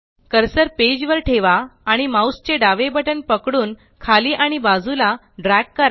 cursor page वर ठेवा आणि माउस चे डावे बटण पकडून खाली आणि बाजूला ड्रॅग करा